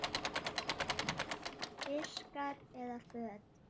Diskar eða föt?